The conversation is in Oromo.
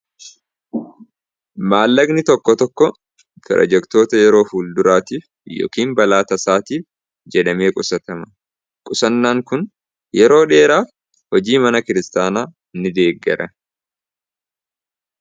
maallaqni tokko tokko piirojektoota yeroo fuul duraatiif yookiin balaa tasaatiif jedhamee qusaatama qusannaan kun yeroo dheeraaf hojii mana kiristaanaa ni deeggara.